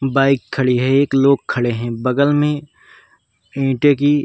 Bike खड़ी है। एक लोग खड़े है। बगल में ईंटे की --